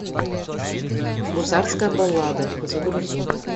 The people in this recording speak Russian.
гусарская баллада загрузи